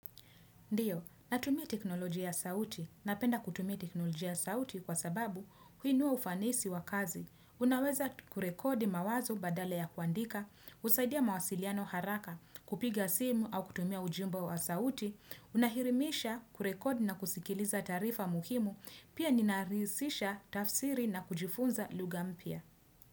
Ndiyo, natumia teknolojia ya sauti. Napenda kutumia teknolojia ya sauti kwa sababu huinua ufanisi wa kazi. Unaweza kurekodi mawazo badala ya kuandika, husaidia mawasiliano haraka, kupiga simu au kutumia ujumbe wa sauti. Unahirimisha kurekodi na kusikiliza taarifa muhimu. Pia ninarisisha tafsiri na kujifunza lugha mpya.